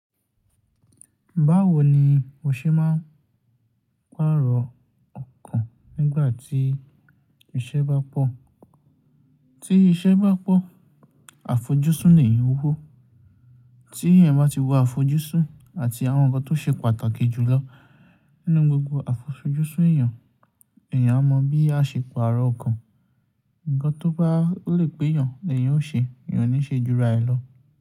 Báwo ni o ṣe máa pààrọ̀ ọkàn nígbà tí iṣẹ́ bá pọ̀? Tí iṣẹ́ bá pọ̀ àfojúsùn èèyàn ó wó. Tí èèyàn bá ti wo àfojúsùn àti àwọn nǹkan tó ṣe pàtàkì jù lọ nínú gbogbo àfojúsùn èèyàn, èèyàn á mọ bí a ṣe pààrọ̀ ọkàn. Ǹkan tó bá lè pé èèyàn, èèyàn ó ṣe, èèyàn ò ní ṣe jura ẹ̀ lọ.